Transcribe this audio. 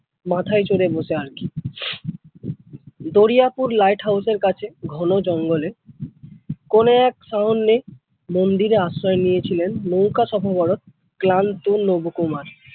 মাথায় চড়ে বসে আর কি। দরিয়াপুর lighthouse এর কাছে ঘন জঙ্গলে কোন এক মন্দিরে আশ্রয় নিয়েছিলেন নৌকা ক্লান্ত নবকুমার।